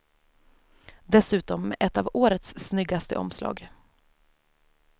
Dessutom med ett av årets snyggaste omslag.